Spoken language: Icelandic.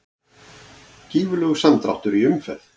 Gífurlegur samdráttur í umferð